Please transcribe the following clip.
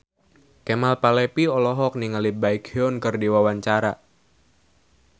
Kemal Palevi olohok ningali Baekhyun keur diwawancara